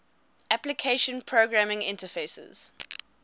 application programming interfaces